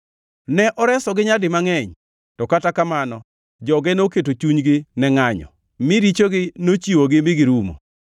Ne oresogi nyadi mangʼeny to kata kamano joge noketo chunygi ne ngʼanyo, mi richogi nochiwogi mi girumo.